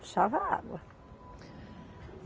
Puxava água.